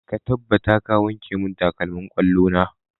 Ka tabbata ka wanke mun takalmin ƙwallo na!